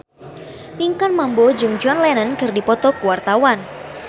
Pinkan Mambo jeung John Lennon keur dipoto ku wartawan